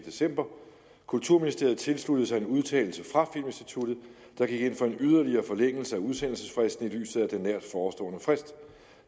december kulturministeriet tilsluttede sig en udtalelse fra filminstituttet der gik ind for en yderligere forlængelse af udsendelsesfristen i lyset af den nært forestående frist